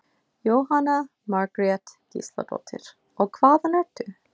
Jóhanna Margrét Gísladóttir: Og hvaðan ertu?